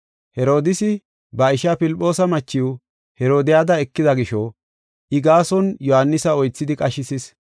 Herodiisi ba ishaa Filphoosa machiw Herodiyada ekida gisho I gaason Yohaanisa oythidi qashisis.